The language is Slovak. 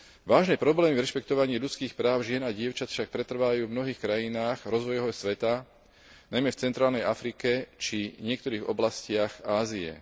Vážne problémy v rešpektovaní ľudských práv žien a dievčat však pretrvávajú v mnohých krajinách rozvojového sveta, najmä v centrálnej Afrike, či niektorých oblastiach Ázie.